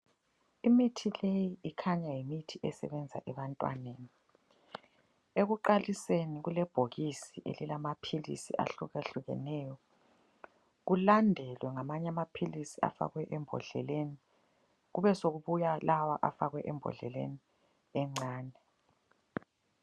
Imithi leyi ikhanya yimithi esebenza ebantwaneni. Ekuqaliseni kulebhokisi elilamaphilisi ahlukahlukeneyo, kulandelwe ngamanye amaphilisi afakwe embodleleni kube sokubuya lawa afakwe embodleleni encane.